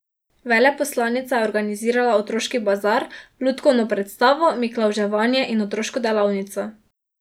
Veleposlanica je organizirala otroški bazar, lutkovno predstavo, miklavževanje in otroško delavnico.